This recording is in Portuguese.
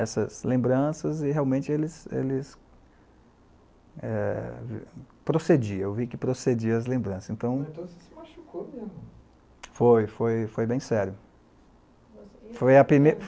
Essas lembranças, e realmente eles eles eh... Procedia, eu vi que procedia as lembranças, então... Então você se machucou muito. Foi, foi bem sério. Foi a primeira